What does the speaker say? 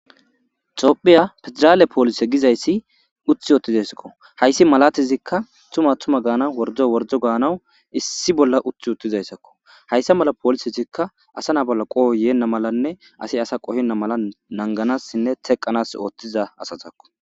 Toophiya pedraale poolise gizayssi uthi oottizayssakko hayssi malatizikka tuma tuma gaana wordo worjo gaanaw issi bolla uthi uttizayssakko hayssa mala poolisezikka asa na bolla qoho yeenna malanne asi asa qohinna mala nanganassinne teqanas ooththiza asazakko.